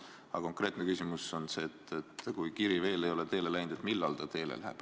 Aga konkreetne küsimus on, et kui kiri veel ei ole teele läinud, siis millal ta teele läheb.